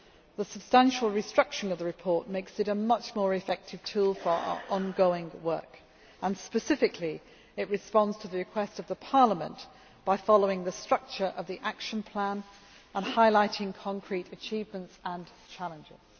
The substantial restructuring of the report makes it a much more effective tool for our ongoing work and, specifically, it responds to the request of Parliament by following the structure of the action plan and highlighting concrete achievements and challenges.